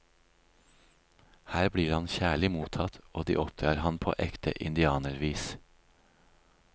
Her blir han kjærlig mottatt og de oppdrar han på ekte indianervis.